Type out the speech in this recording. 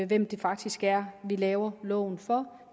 hvem det faktisk er vi laver loven for